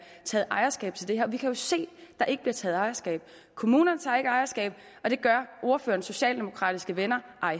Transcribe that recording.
taget ejerskab til det her vi kan se at der ikke bliver taget ejerskab kommunerne tager ikke ejerskab og det gør ordførerens socialdemokratiske venner